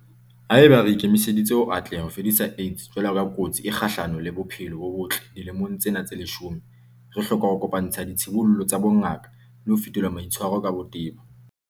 Haeba re ikemiseditse ho atleha ho fedisa AIDS jwalo ka kotsi e kgahlano le bophelo bo botle dilemong tsena tse leshome, re hloka ho kopa-ntsha ditshibollo tsa bongaka le ho fetola maitshwaro ka botebo.